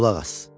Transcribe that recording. qulaq as.